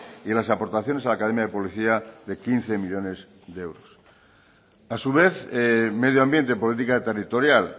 y las aportaciones a la academia de publicidad de quince millónes de euros a su vez medio ambiente política territorial